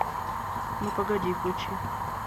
ну погоди включи